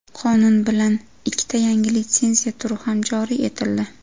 Qonun bilan ikkita yangi litsenziya turi ham joriy etildi.